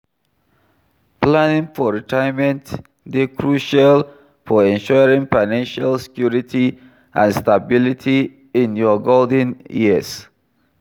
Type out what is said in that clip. Planning for retirement dey crucial for ensuring financial security and stability in your golden years.